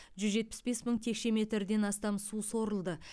жүз жетпіс бес мың текше метрден астам су сорылды